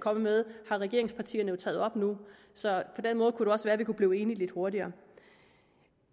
kommet med har regeringspartierne jo taget op nu så på den måde kunne det også være at vi kunne blive enige lidt hurtigere